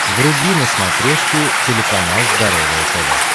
вруби на смотрешке телеканал здоровое тв